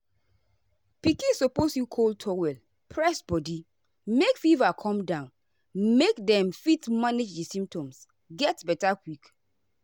pikin suppose use cold towel press body make fever come down make dem fit manage di symptoms get beta quick.